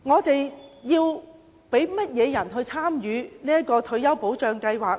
究竟我們要讓誰參與這項退休保障計劃呢？